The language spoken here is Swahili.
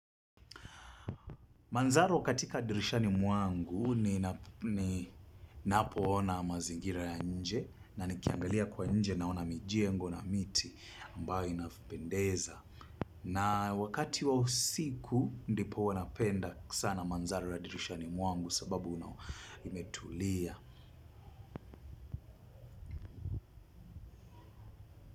Manzaro katika dirishani mwangu ni napoona mazingira ya nje na nikiangalia kwa nje na ona mijengo na miti ambayo inavyopendeza. Na wakati wa usiku ndipo huwa napenda sana manzaro ya dirishani mwangu sababu imetulia.